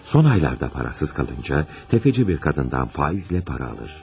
Son aylarda parasız qalınca, təfəçi bir qadından faizlə para alır.